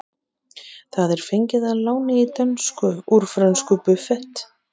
Það er fengið að láni í dönsku úr frönsku buffet.